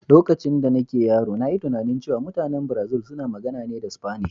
Lokacin da nake yaro, na yi tunanin cewa mutanen Brazil suna magana ne da Sfanish.